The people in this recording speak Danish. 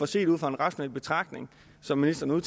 set ud fra en rationel betragtning som ministeren